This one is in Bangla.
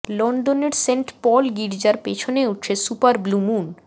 লন্ডনের সেন্ট পল গীর্জার পেছনে উঠছে সুপার ব্লু মুন